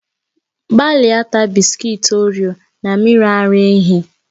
Gbalịa taa bị́sikití orio na mmiri ara ehi